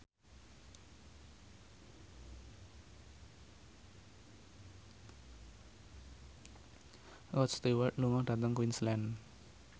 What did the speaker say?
Rod Stewart lunga dhateng Queensland